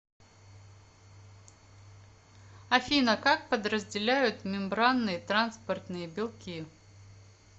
афина как подразделяют мембранные транспортные белки